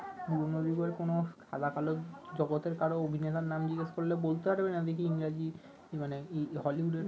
পুরনো দিনের কোন সাদা কালো জগতের কারো অভিনেতার নাম জিজ্ঞেস করলে বলতে পারবে না দেখি ইংরাজি মানে হলিউডের